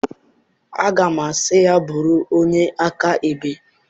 Aga m asị ya, bụrụ onye akaebe!